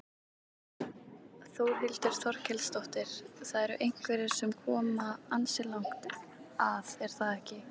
Þórhildur Þorkelsdóttir: Það eru einhverjir sem að koma ansi langt að er það ekki?